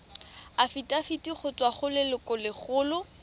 afitafiti go tswa go lelokolegolo